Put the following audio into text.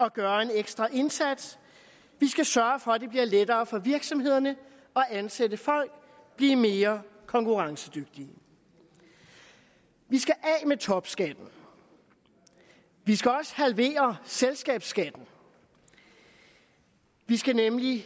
at gøre en ekstra indsats vi skal sørge for at det bliver lettere for virksomhederne at ansætte folk blive mere konkurrencedygtige vi skal af med topskatten vi skal også halvere selskabsskatten vi skal nemlig